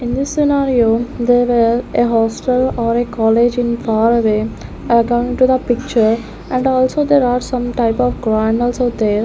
in this scenario there were a hostel or a college in far away account to the picture and also there are some types of are there.